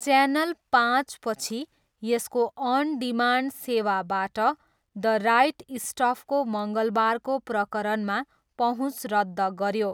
Channel पाँचपछि यसको on demand सेवाबाट द राइट स्टफको मङ्गलबारको प्रकरणमा पहुँच रद्द गऱ्यो।